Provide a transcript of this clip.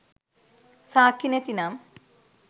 සාක්කි නැතිනම්